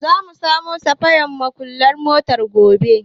Za mu samo safayan muƙullan motar gobe.